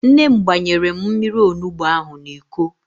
Nne m gbanyere m mmiri onugbo ahụ n'Iko